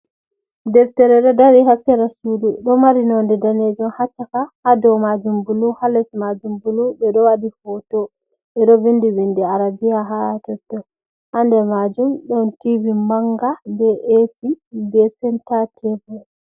Deftere ɗo dari ha sera sudu ɗo mari nonde danejum ha caka, ha dou majum bulu, ha les majum bulu, ɓe ɗo waɗi hoto ɓe ɗo vindi vindi arabia ha totton ha nder majum ɗon tivi manga be esi be senta tebul.